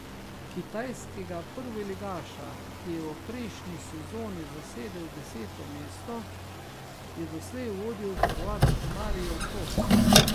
Kitajskega prvoligaša, ki je v prejšnji sezoni zasedel deseto mesto, je doslej vodil Hrvat Marijo Tot.